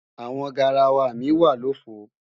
Àwọn garawa mi wà lòfo